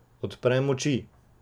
Odprem oči.